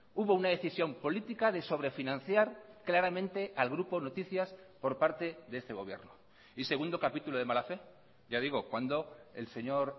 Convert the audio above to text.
hubo una decisión política de sobrefinanciar claramente al grupo noticias por parte de este gobierno y segundo capítulo de mala fe ya digo cuando el señor